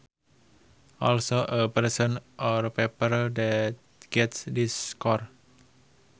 Also a person or paper that gets this score